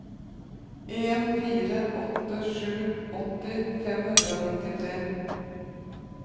en fire åtte sju åtti fem hundre og nittitre